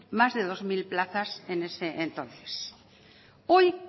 más de dos mil plazas en ese entonces hoy